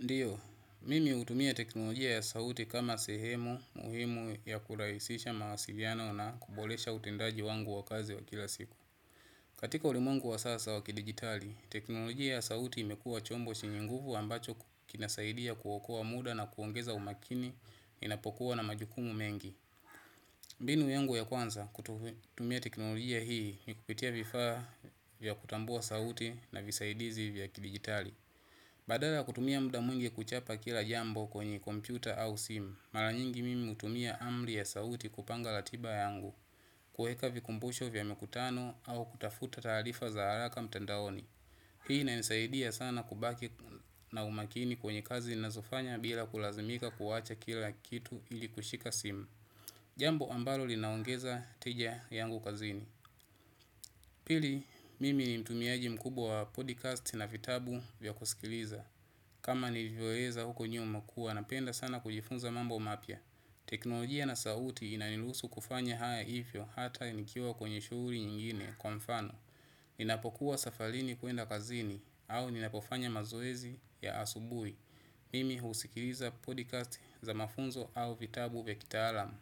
Ndiyo, mimi hutumia teknolojia ya sauti kama sehemu, muhimu ya kurahisisha mawasiliano na kuboresha utendaji wangu wa kazi wa kila siku. Katika ulimwengu wa sasa wa kidigitali, teknolojia ya sauti imekuwa chombo shinye nguvu ambacho kinasaidia kuokoa muda na kuongeza umakini unapokuwa na majukumu mengi. Mbinu yangu ya kwanza, kutumia teknolojia hii, mikupitia vifaa vya kutambua sauti na visaidizi vya kidigitali. Badala ya kutumia muda mwingi kuchapa kila jambo kwenye kompyuta au simu maranyingi mimi hutumia amri ya sauti kupanga ratiba yangu. Kuweka vikumbusho vya makutano au kutafuta taarifa za haraka mtandaoni. Hii inanisaidia sana kubaki na umakini kwenye kazi ninazofanya bila kulazimika kuwacha kila kitu ili kushika simu. Jambo ambalo linaongeza tija yangu kazini. Pili mimi ni mtumiaji mkubwa wa podcast na vitabu vya kusikiliza. Kama nivyoeza huko nyuma kuwa napenda sana kujifunza mambo mapya. Teknolojia na sauti inaniruhusu kufanya haya ivyo hata nikiwa kwenye shughuli nyingine kwa mfano ninapokuwa safarini kuenda kazini au ninapofanya mazoezi ya asubuhi mimi husikiliza podcast za mafunzo au vitabu vya kitaalam.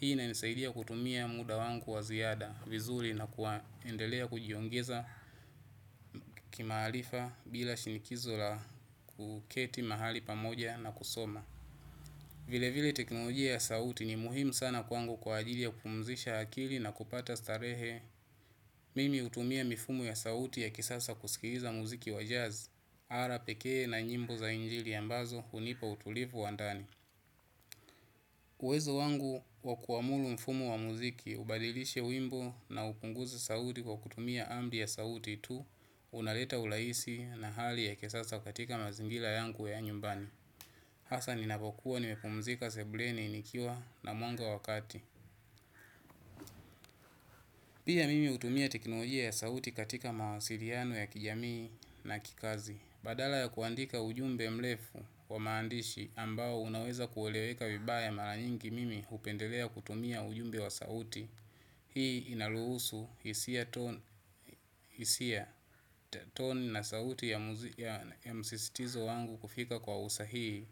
Hii inanisaidia kutumia muda wangu wa ziada vizuri na kuendelea kujiongeza kimaarifa bila shinikizo la kuketi mahali pamoja na kusoma. Vile vile teknolojia ya sauti ni muhimu sana kwangu kwa ajili ya kupumzisha hakili na kupata starehe. Mimi hutumia mifumo ya sauti ya kisasa kusikiza muziki wa jazz Ara pekee na nyimbo za injili ambazo hunipa utulivu wa ndani. Uwezo wangu wa kuamulu mfumo wa muziki ubadilishe wimbo na upunguzi sauti kwa kutumia amri ya sauti tu. Unaleta urahisi na hali ya kisasa katika mazingira yangu ya nyumbani hasa ninapokuwa nimepumzika sebuleni nikiwa na mwanga wa kati. Pia mimi hutumia teknojia ya sauti katika mawasiliano ya kijamii na kikazi. Badala ya kuandika ujumbe mrefu wa maandishi ambao unaweza kueleweka vibaya mara nyingi mimi hpendelea kutumia ujumbe wa sauti. Hii inaruhusu hisia toni na sauti ya msistizo wangu kufika kwa usahii.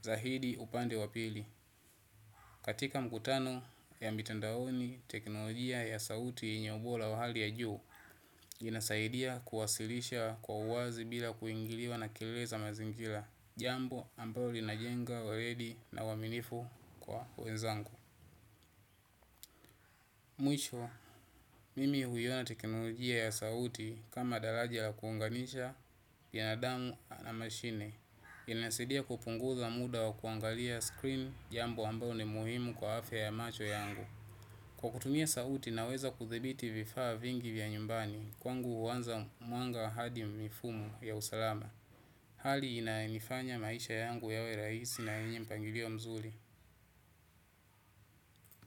Zaidi upande wa pili katika mkutano ya mitandaoni teknolojia ya sauti yenye ubora wa hali ya juu. Inasaidia kuwasilisha kwa uwazi bila kuingiliwa na kilele mazingira. Jambo ambao linajenga waredi na uaminifu kwa wenzangu. Mwisho, mimi huyona teknolojia ya sauti kama daraja la kuunganisha, binadamu na mashine. Inasidia kupunguza muda wa kuangalia screen jambo ambao ni muhimu kwa afya ya macho yangu. Kwa kutumia sauti na weza kuthibiti vifaa vingi vya nyumbani, kwangu huanza mwanga hadi mifumo ya usalama. Hali inayoifanya maisha yangu yawe rahisi na yenye mpangilio mzuri.